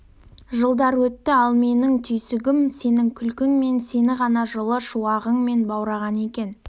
жылдар өтті ал менің түйсінгенім сенің күлкің тек мені ғана жылы шуағымен баураған екен